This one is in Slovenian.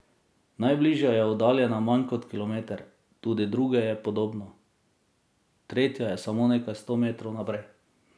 Najbližja je oddaljena manj kot kilometer, tudi do druge je podobno, tretja je samo nekaj sto metrov naprej.